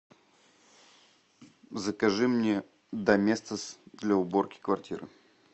закажи мне доместос для уборки квартиры